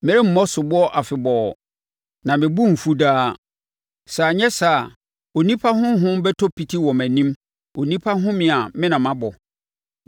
Meremmɔ soboɔ afebɔɔ, na mebo remfu daa, sɛ anyɛ saa a, onipa honhom bɛtɔ piti wɔ mʼanim, onipa ahome a me na mabɔ.